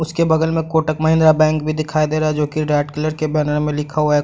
उसके बगल में कोटक महिंद्रा बैंक भी दिखाई दे रहा है जो की रेड कलर के बैनर में लिखा हुआ है।